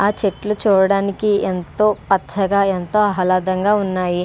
ఆ చెట్లు చూడడానికి ఎంతో పచ్చగా ఎంతో ఆహళదాం ఉన్నాయి.